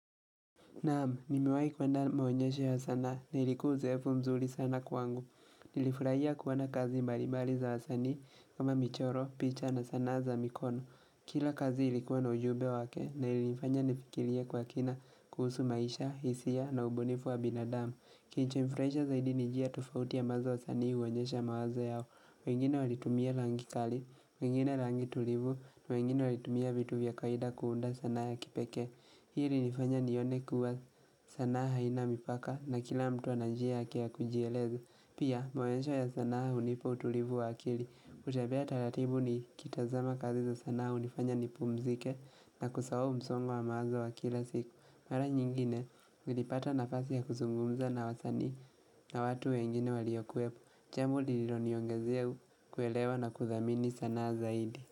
Naam, nimewahi kuenda maonyesho ya sanaa na ilikuwa uzoefu mzuri sana kwangu. Nilifurahia kuoana kazi mbalibali za wasanii kama michoro, picha na sanaa za mikono. Kila kazi ilikuwa na ujumbe wake na ilifanya nifikirie kwa kina kuhusu maisha, hisia na ubunifu wa binadamu. Kilicho nifurahisha zaidi ni njia tofauti ambazo wasanii huonyesha mawazo yao. Wengine walitumia rangi kali, wengine rangi tulivu, wengine walitumia vitu vya kawaida kuunda sanaa ya kipekee. Hi ilinifanya nione kuwa sanaa haina mipaka na kila mtu ana njia yake ya kujieleza. Pia maonyesho ya sanaa hunipa utulivu wa akili. Kutembea taratibu nikitazama kazi za sanaa hunifanya nipumzike na kusahau msongo wa mawazo wa kila siku. Mara nyingine, nilipata nafasi ya kuzungumza na wasanii na watu wengine waliokuwepo. Jambo liloniongezea kuelewa na kuthamini sanaa zaidi.